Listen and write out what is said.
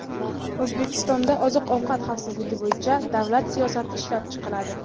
O‘zbekistonda oziq-ovqat xavfsizligi bo‘yicha davlat siyosati ishlab chiqiladi.